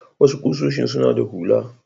Wasu ƙusoshin suna da hula.